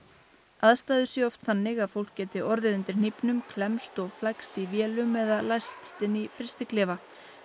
aðstæður séu oft þannig að fólk geti orðið undir hnífnum klemmst og flækst í vélum eða læst inni í frystiklefa